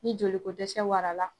Ni jolikodɛsɛ wara la.